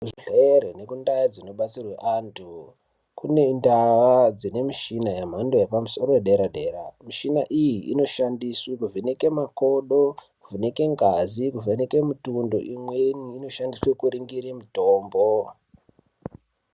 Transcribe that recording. Kuzvibhedhlere nekundau dzinodetserwe antu kune ndau dzine mishina yemhando yepamusoro yedera-dera. Mishina iyi inoshandiswa kuvheneke makodo, kuvheneke ngazi, kuvheneke mitundo. Imweni inoshandiswe kuringire mitombo.